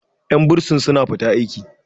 yan bursin suna fita aiki